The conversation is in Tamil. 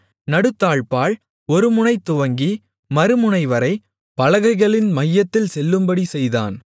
நடுத்தாழ்ப்பாள் ஒருமுனை துவங்கி மறுமுனைவரை பலகைகளின் மையத்தில் செல்லும்படி செய்தான்